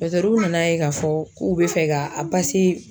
Dɔtɛruw n'a ye k'a fɔ k'u be fɛ k'a pase